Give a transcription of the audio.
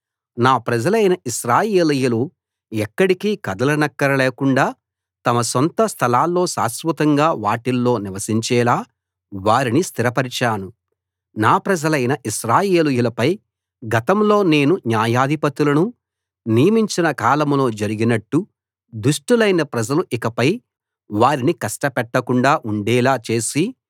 నా ప్రజలైన ఇశ్రాయేలీయులు ఎక్కడికీ కదలనక్కర లేకుండ తమ సొంత స్థలాల్లో శాశ్వతంగా వాటిల్లో నివసించేలా వారిని స్థిరపరిచాను నా ప్రజలైన ఇశ్రాయేలీయులపై గతంలో నేను న్యాయాధిపతులను నియమించిన కాలంలో జరిగినట్టు దుష్టులైన ప్రజలు ఇకపై వారిని కష్టపెట్టకుండా ఉండేలా చేసి